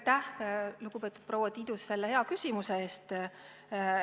Aitäh, lugupeetud proua Tiidus, selle küsimuse eest!